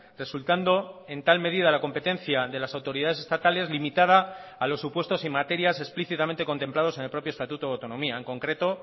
resultando en tal medida la competencia de las autoridades estatales limitada a los supuestos en materias explícitamente contemplados en el propio estatuto de autonomía en concreto